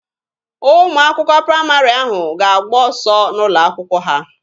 Ụmụ akwụkwọ praịmarị ahụ ga-agba ọsọ n'ụlọ akwụkwọ ha.